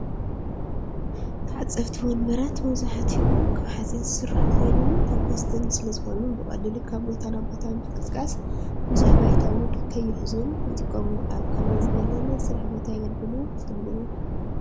ተዓፀፍቲ ወንበራት መብዛሕትኡ ካብ ሓፂን ዝስርሑ ኾይኖም ፎኮስቲ ስለዝኾኑ ብቐሊሉ ካብ ቦታ ናብ ቦታ ንምንቅስቓስን ብዙሕ ባይታ ውን ከይሕዙን ይጠቕሙ፡፡ ኣብ ከመይ ዝበለ ናይ ስራሕ ቦታ የገልግሉ ትብልዎም?